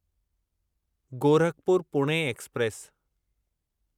Gorakhpur Pune express